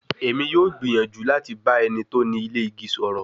Emi yoo gbiyanju lati ba eni to ni ile igi sọrọ